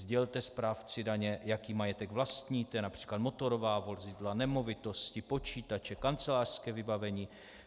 Sdělte správci daně, jaký majetek vlastníte, například motorová vozidla, nemovitosti, počítače, kancelářské vybavení.